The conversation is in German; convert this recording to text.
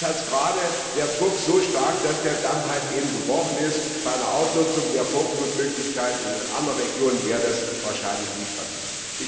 Bei uns war der Druck so stark, dass der Damm eben gebrochen ist, bei einer Ausnutzung der Vorflutmöglichkeiten in anderen Regionen wäre das wahrscheinlich nicht passiert.